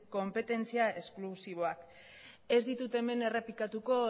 konpetentzia esklusiboa ez ditut hemen errepikatuko